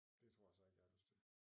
Det tror jeg så ikke jeg har lyst til